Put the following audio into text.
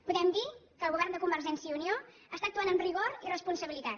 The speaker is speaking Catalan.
podem dir que el govern de convergència i unió ac·tua amb rigor i responsabilitat